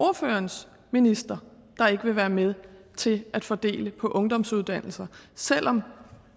ordførerens minister der ikke ville være med til at fordele på ungdomsuddannelser selv om